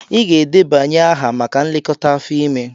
Ị ga-edebanye aha maka nlekọta afọ ime!